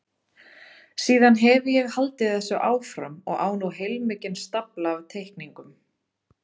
Síðan hefi ég haldið þessu áfram og á nú heilmikinn stafla af teikningum.